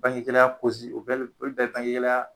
Bange gɛlɛya o bɛ bi, olu bɛ ye bange gɛlɛya